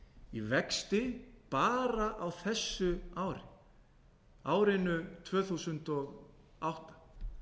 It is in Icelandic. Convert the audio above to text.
í vexti bara á þessu ári árinu tvö þúsund og átta